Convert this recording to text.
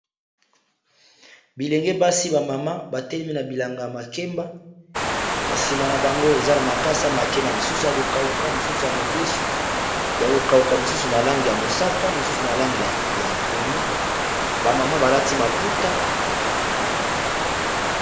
Bilenge basi ba mama batelemi na bilanga ya makemba na nsima na bango eza na makasa makemba misusu ya kokauka misusu ya mobesu ya kokauka misusu na langi ya mosaka mosusu na langi ya pondu ba mama balati maputa.